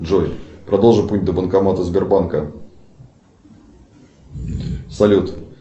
джой продолжи путь до банкомата сбербанка салют